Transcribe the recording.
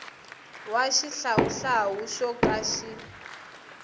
wa xihlawuhlawu xo ka xi